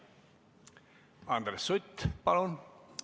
Andres Sutt, palun!